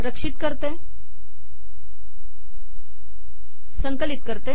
रक्षित करते संकलित करते